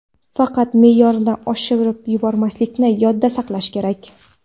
Faqat me’yorni oshirib yubormaslikni yodda saqlash kerak.